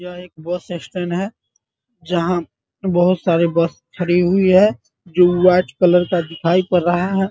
यह एक bus stand है जहाँ बहुत सारी बस खड़ी हुई है जो व्हाइट कलर का दिखाई पड़ रहा है।